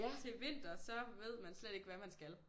Til vinter så ved man slet ikke hvad man skal